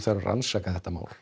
að rannsaka þetta mál